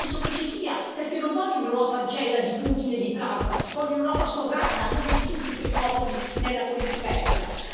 Io invece penso che ci sia, perché io non voglio un'Europa ancella di Putin e di Trump, voglio un'Europa sovrana a nome di tutti i suoi popoli nella politica estera.